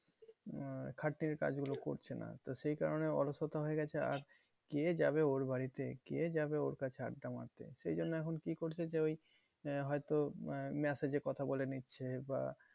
আহ খাটনির কাজ গুলো করছে না। তো সেই কারণে অলসতা হয়ে গেছে আর কে যাবে ওর বাড়িতে কে যাবে ওর কাছে আড্ডা মারতে? সেই জন্য এখন কি করছে যে ওই আহ যে হয়তো আহ message এ কথা বলে নিচ্ছে। বা